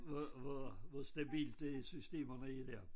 Hvor hvor hvor stabilt det systemerne egentlig er